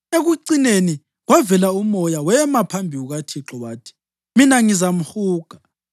Ekucineni kwavela umoya, wema phambi kukaThixo wathi, ‘Mina ngizamhuga.’